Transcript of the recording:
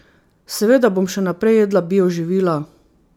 Seveda bom še naprej jedla bio živila.